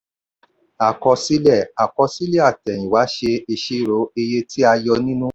àkọsílẹ̀ àkọsílẹ̀ àtẹ̀yìnwá ṣe ìṣirò iye tí a yọ nínú.